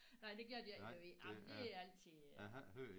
Nej det gør de ikke i Lemvig nej men det er altid